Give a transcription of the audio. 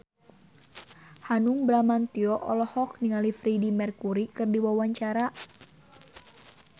Hanung Bramantyo olohok ningali Freedie Mercury keur diwawancara